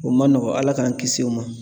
O ma nɔgɔn Ala k'an kisi o ma